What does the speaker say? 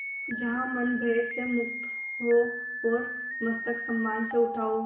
जहाँ मन भय से मुक्त हो और मस्तक सम्मान से उठा हो